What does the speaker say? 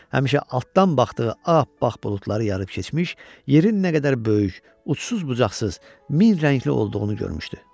həmişə altdan baxdığı ap-appaq buludları yarıb keçmiş, yerin nə qədər böyük, uçsuz-bucaqsız, min rəngli olduğunu görmüşdü.